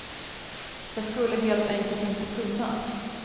Jag skulle helt enkelt inte kunna.